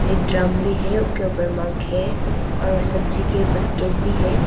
एक ड्रम भी है उसके ऊपर मग है और सब्जी के बस्केट भी है।